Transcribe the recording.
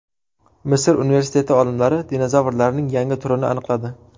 Misr universiteti olimlari dinozavrlarning yangi turini aniqladi.